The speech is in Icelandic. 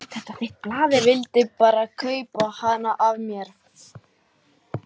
Vildi bara kaupa hana af mér!